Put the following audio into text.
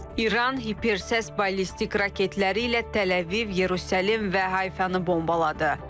İran hipersəs ballistik raketləri ilə Təl-Əviv, Yerusəlim və Hayfanı bombaladı.